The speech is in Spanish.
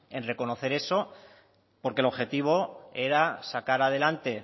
en reconocer eso porque el objetivo era sacar adelante